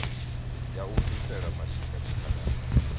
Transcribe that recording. ya u bvisela mashika tshikhalani